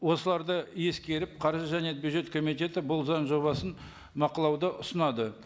осыларды ескеріп қаржы және бюджет комитеті бұл заң жобасын ұсынады